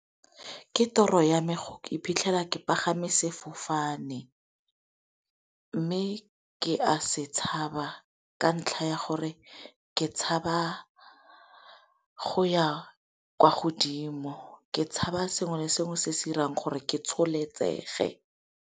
Ke toro ya me go iphitlhela ke pagame sefofane, mme ke a se tshaba ka ntlha ya gore ke tshaba go ya kwa godimo. Ke tshaba sengwe le sengwe se se irang gore ke tsholetsege.